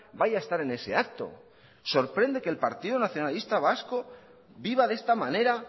vaya a estar en ese acto sorprende que el partido nacionalista vasco viva de esta manera